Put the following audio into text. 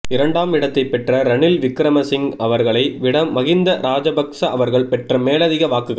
இரண்டாம் இடத்தைப் பெற்ற ரணில் விக்கிரமசிங்க அவர்களை விட மஹிந்த ராஜபக்ஸ அவர்கள் பெற்ற மேலதிக வாக்குகள்